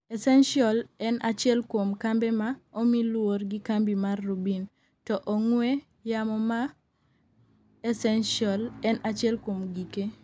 Essential en achiel kuom kambe ma omi luor gi kambi mar Rubin, to ong'we yamo mae Essential en achiel kuom gike